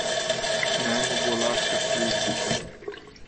Naj mu bo lahka službica.